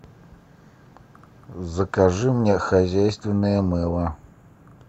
закажи мне хозяйственное мыло